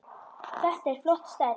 Þetta er flott stærð.